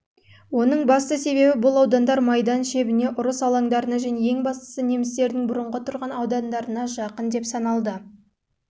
оның басты себебі бұл аудандар майдан шебіне ұрыс алаңдарына және ең бастысы немістердің бұрынғы тұрған аудандарына жақын деп